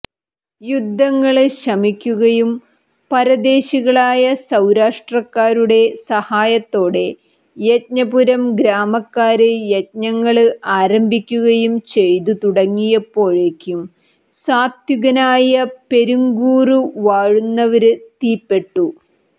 യുദ്ധങ്ങള് ശമിക്കുകയും പരദേശികളായ സൌരാഷ്ട്രക്കാരുടെ സഹായത്തോടെ യജ്ഞപുരം ഗ്രാമക്കാര് യജ്ഞങ്ങള് ആരംഭിക്കുകയും ചെയ്തു തുടങ്ങിയപ്പോഴേക്കും സാത്വികനായ പെരുങ്കൂറു വാഴുന്നവര് തീപ്പെട്ടു